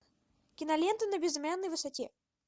кинолента на безымянной высоте